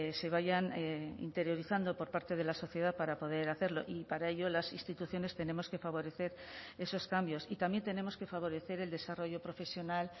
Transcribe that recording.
se vayan interiorizando por parte de la sociedad para poder hacerlo y para ello las instituciones tenemos que favorecer esos cambios y también tenemos que favorecer el desarrollo profesional